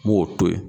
N b'o to yen